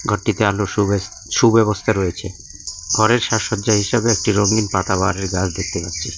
ঘরটিতে আলোর সুবেস সুব্যবস্থা রয়েছে ঘরের সাজসজ্জা হিসেবে একটা রঙিন পাতাবাহারের গাছ দেখতে পাচ্ছি।